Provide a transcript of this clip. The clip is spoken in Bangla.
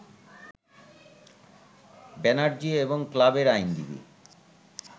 ব্যানার্জি এবং ক্লাবের আইনজীবী